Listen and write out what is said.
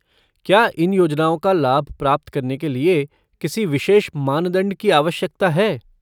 क्या इन योजनाओं का लाभ प्राप्त करने के लिए किसी विशेष मानदंड की आवश्यकता है?